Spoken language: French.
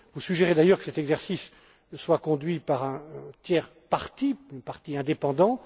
Vous suggérez d'ailleurs que cet exercice soit conduit par un tiers parti indépendant.